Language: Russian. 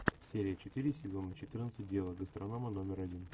серия четыре сезона четырнадцать дело гастронома номер один